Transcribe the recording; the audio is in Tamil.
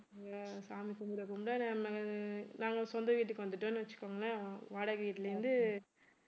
ஆஹ் சாமி கும்பிட கும்பிட நாம்ம நாங்க சொந்த வீட்டுக்கு வந்துட்டோம்ன்னு வச்சுக்கோங்களேன் வாடகை வீட்ல இருந்து